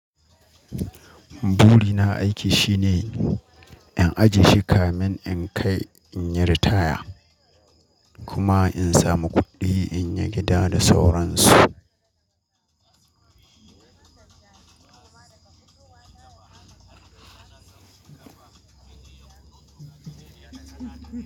Buri na aiki shine in ajiye shi kamin in kai in yi ritaya, kuma in samu kuɗi in yi gida da sauran su.